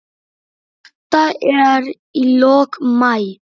Þetta er í lok maí.